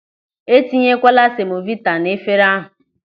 E tinyekwala semovita n'efere ahụ.